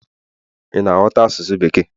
ị na ghọta asụsụ bekee?